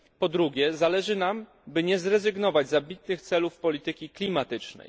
Po drugie, zależy nam, by nie zrezygnować z ambitnych celów polityki klimatycznej.